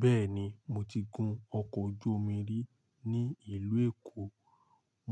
Bẹ́ẹ̀ni, mo ti gun ọkọ̀ ojú omi rí ní ìlú Èkó.